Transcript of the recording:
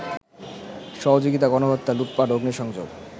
সহযোগিতা, গণহত্যা, লুটপাট, অগ্নিসংযোগ